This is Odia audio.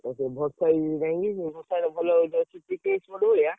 ଏ ବର୍ଷ ଇଏ ହେଇନି, ଟିକେ ଏଇ ଭଳିଆ।